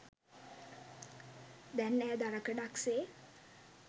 දැන් ඈ දරකඩක් සේ